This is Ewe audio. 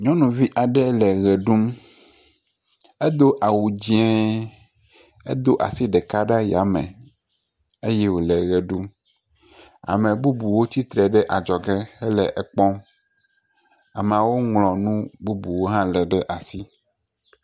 Nyɔnuvi ɖeka aɖe le ʋe ɖum, edo awu dzɛ̃e edo asi ɖeka ɖe ayame eye wole eʋe ɖum ame bubuwo tsitre ɖe adzɔge hele ekpɔm ameawo ŋlɔ nu bubu hã ɖe asi.